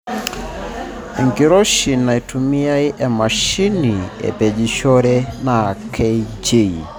Enkiroishi naaitumiya emashini apejishore naa kJ